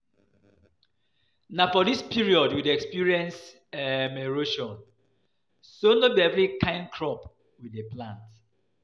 Na for dis period we dey experience um erosion so no be every kyn crop we dey plant